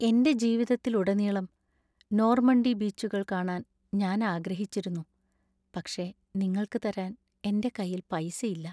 എന്‍റെ ജീവിതത്തിലുടനീളം നോർമണ്ടി ബീച്ചുകൾ കാണാൻ ഞാൻ ആഗ്രഹിച്ചിരുന്നു, പക്ഷേ നിങ്ങൾക്ക് തരാൻ എന്‍റെ കൈയിൽ പൈസ ഇല്ലാ.